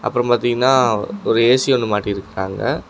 அப்ரோ பாத்தீங்கன்னா ஒரு ஏ_சி ஒன்னு மாட்டிருக்காங்க.